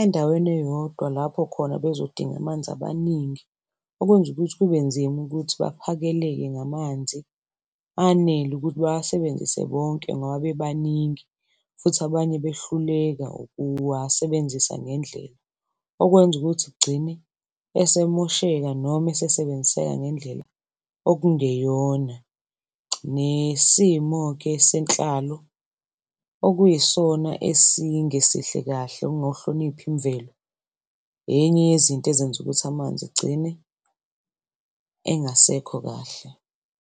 endaweni eyodwa lapho khona bezodinga amanzi amaningi. Okwenzukuthi kube nzima ukuthi baphakeleke ngamanzi anele ukuthi bawasebenzise bonke ngoba bebaningi, futhi abanye behluleka ukuwasebenzisa ngendlela. Okwenzukuthi kugcine esemosheka noma esesebenziseka ngendlela okungeyona. Nesimo-ke senhlalo okuyisona esingesihle kahle, ukungawuhloniphi imvelo enye yezinto ezenza ukuthi amanzi egcine engasekho kahle.